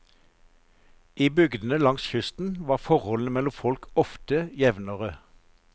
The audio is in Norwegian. I bygdene langs kysten var forholdene mellom folk ofte jevnere.